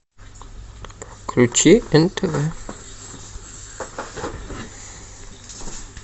включи нтв